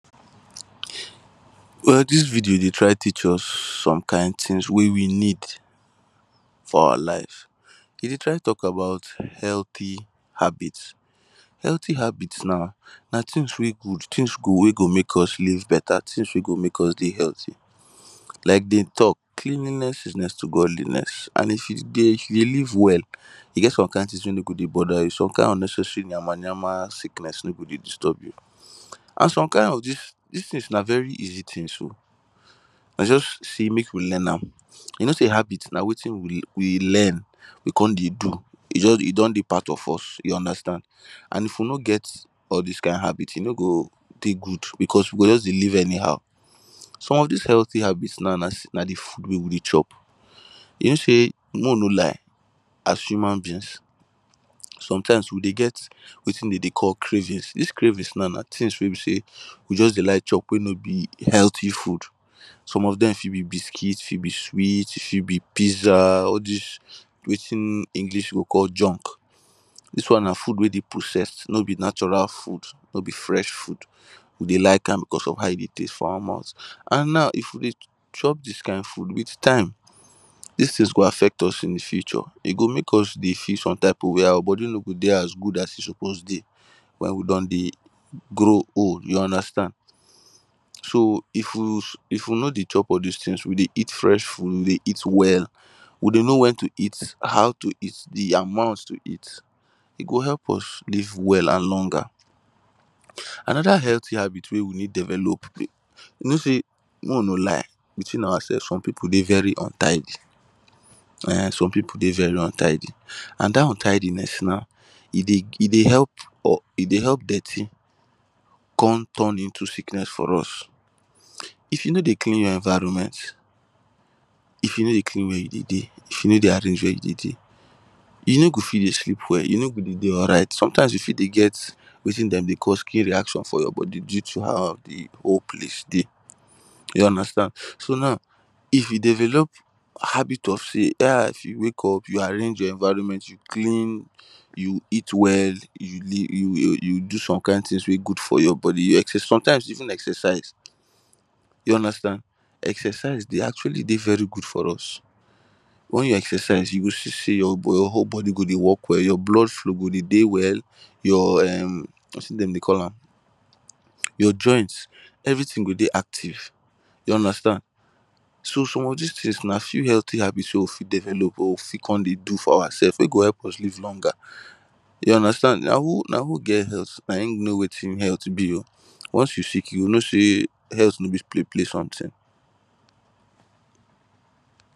Well dis video dey try teach us some kind things wey we need for our life, e dey try talk about healthy habits. Healthy habits now na things wey good things go wey go make us live better things wey go make us dey healthy, like dem talk cleanliness is next to Godliness and if you dey live well e get some kind things wey no go dey bother you some kind unnecessary yama-yama sickness no go dey disturb you and some kind of dis, dis things na very easy things oh na just sey make we learn am you know sey habit na wetin we we learn we come dey do e jur e don dey part of us you understand and if we know get all dis kind habit e no go dey good because we go just dey live anyhow. Some of dis healthy habits now na na de food wey we dey chop you know sey mey we no lie as human beings sometimes wey dey get wetin dey dey call cravings, dis cravings now na things wey be sey we just dey like chop wey no be healthy food some of dem fit be biscuit, fit be sweet, e fit be pizza all dis wetin english go call junk, dis one na food wey dey processed no be natural food no be fresh food we dey ,like am cause of how e dey taste for our mouth and now if we dey chop dis kind food with time dis things go affect us in di future e go make us dey feel some type of way, our body no go dey as good as e suppose dey wen we don dey grow old you understand so if we if we no dey chop all dis things we dey eat fresh food dey eat well, we dey know when to eat, How to eat, di amount to eat e go help us live well and longer. Another healthy habit wey we need develop you no sey may we know lie between our self some people dey very untidy eh um some people dey very untidy and dat untidiness now e dey e dey help um e dey help dirty come turn into sickness for us, if you no dey clean your environment if you no dey clean where you dey dey, if you no dey arrange where you dey dey you no go fit dey sleep well, you no go dey dey alright sometimes if you dey get wetin dem dey call skin reaction for your body due to how di whole place dey you understand so now if you develop habit of sey ha if you wake up you arrange your environment, you clean, you eat well, you you do some kind things wey good for your body, you exerci sometimes you even exercise you understand, exercise dey actually dey very good for us when you exercise you go see sey your whole body go dey work well, your blood flow go dey dey well, your em wetin dem dey call am your joint everything go dey active you understand. So some of dis things na still healthy habits wey we fit develop wey we fit come dey do for ourselves wey go help us live longer you understand, na who na who get health na e know wetin health be oh once you sick you go know sey health no be play play something.